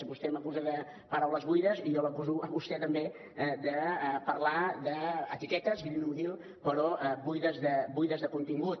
vostè m’acusa de paraules buides i jo l’acuso a vostè també de parlar d’etiquetes green buides de contingut